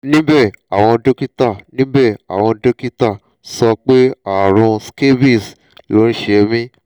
níbẹ̀ àwọn dókítà níbẹ̀ àwọn dókítà sọ pé ààrùn scabies ló ń ṣe mí